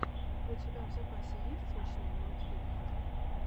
у тебя в запасе есть смешные мультфильмы